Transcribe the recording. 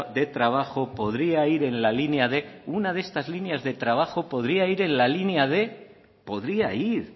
de trabajo podría ir en la línea de una de estas líneas de trabajo podría ir en la línea de podría ir